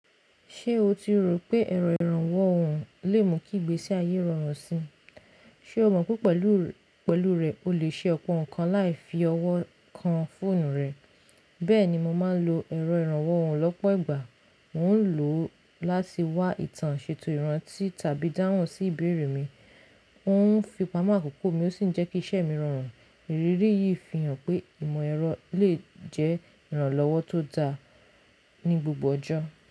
Ṣé o ti rò pé ẹ̀rọ ìrànwọ́ ọ̀hùn lè mú kí ìgbésí ayé rọrùn síi? Ṣé o mọ̀ pé pẹ̀lú rẹ̀ o lè ṣe ọ̀pọ̀ nǹkan láì fi ọwọ́ kan fóònù rẹ. Bẹ́ẹ̀ni, mo máa ń lo ẹ̀rọ ìrànwọ́ ọ̀hùn lọ́pọ̀ ìgbà. Mo ń lò láti wá ìtàn ṣètò ìrántí tàbí dáhùn sí ìbéèrè mi. Ó ń fi pamọ́ àkókò mi ó ṣì ń jẹ́ kí iṣẹ́ mi rọrùn. Ìrírí yìí fi hàn pé ìmọ̀ ẹ̀rọ lè jẹ́ ìrànlọ́wọ́ tó dáa ní gbogbo ọjọ́